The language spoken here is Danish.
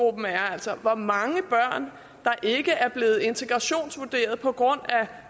altså hvor mange børn der ikke er blevet integrationsvurderet på grund af